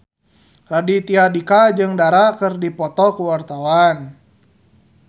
Raditya Dika jeung Dara keur dipoto ku wartawan